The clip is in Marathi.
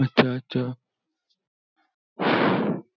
अच्छा अच्छा